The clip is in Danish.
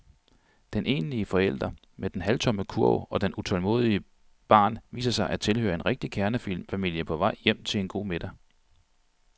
Den enlige forælder med den halvtomme kurv og det utålmodige barn viser sig at tilhøre en rigtig kernefamilie på vej hjem til en god middag.